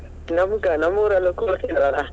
ನಮ್ ಕ~ ನಮ್ಮೂರಲ್ಲೂ ಕೂರಿಸ್ತಾರಲ್ಲ